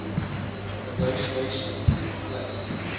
negotiations took place